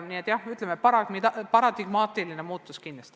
Nii et jah, kindlasti on tegemist paradigmaatilise muutusega.